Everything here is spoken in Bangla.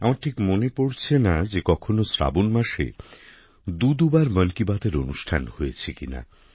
আমার ঠিক মনে পড়ছে না যে কখনো শ্রাবণ মাসে দু দু বার মন কি বাত এর অনুষ্ঠান হয়েছে কিনা